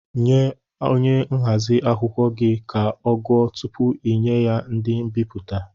Nye onye nhazi akwụkwọ gị ka ọ gụọ tụpụ inye ya ndị mbipụta!